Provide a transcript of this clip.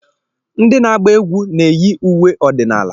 Ndị na-agba egwú na-eyi uwe ọdịnala.